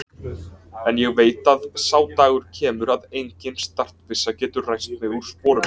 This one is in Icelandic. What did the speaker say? En ég veit að sá dagur kemur að engin startbyssa getur ræst mig úr sporum.